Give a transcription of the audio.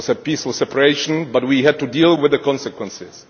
It was a peaceful separation but we had to deal with the consequences.